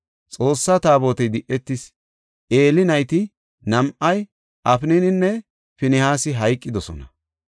Xoossaa Taabotey di7etis; Eeli nayti nam7ay, Afnaninne Finihaasi hayqidosona.